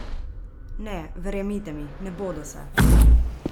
Ne, verjemite mi, ne bodo se!